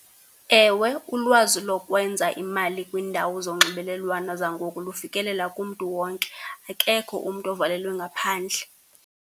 Ewe, ulwazi lokwenza imali kwiindawo zonxibelelwano zangoku lufikelela kumntu wonke. Akekho umntu ovalelwe ngaphandle.